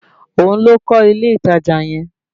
Òun ló kọ́ ilé ìtajà yẹn